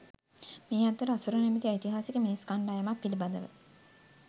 මේ අතර අසුර නමැති ඓතිහාසික මිනිස් කණ්ඩායමක් පිළිබඳව